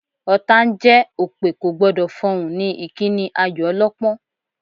Ọ̀tá ń jẹ́, òpè kò gbọ́dọ̀ fọhùn ni ìkíni ayò ọlọ́pọ́n